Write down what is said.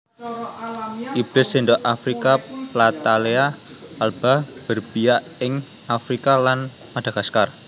Ibis sendok afrika Platalea alba Berbiak ing Afrika lan Madagaskar